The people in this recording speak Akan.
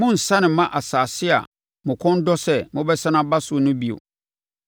Morensane mma asase a mo kɔn dɔ sɛ mobɛsane aba so no bio.”